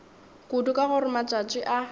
kudu ka gore matšatši a